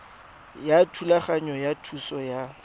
ya thulaganyo ya thuso ya